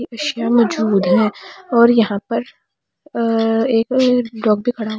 मौजूद है और यहां पर एक डॉग भी खड़ा--